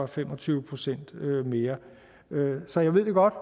fem og tyve procent mere så jeg ved godt